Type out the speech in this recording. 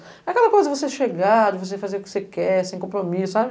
É aquela coisa de você chegar, de você fazer o que você quer, sem compromisso, sabe?